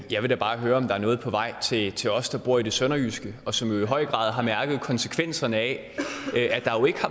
jeg vil da bare høre om der er noget på vej til til os der bor i det sønderjyske og som jo i høj grad har mærket konsekvenserne af